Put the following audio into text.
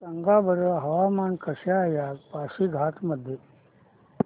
सांगा बरं हवामान कसे आहे आज पासीघाट मध्ये